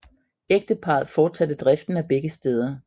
Ægteparret forsatte driften af begge steder